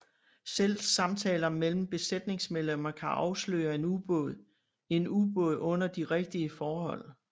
Selv samtaler mellem besætningsmedlemmer kan afsløre en ubåd en ubåd under de rigtige forhold